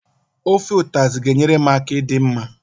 Ofe ụtazị ga enyere m aka ịdị mma?